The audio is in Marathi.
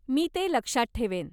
मी ते लक्षात ठेवेन.